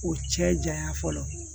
O cɛ jayan fɔlɔ